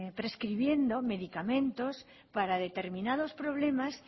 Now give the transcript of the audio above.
prescribiendo medicamentos para determinados problemas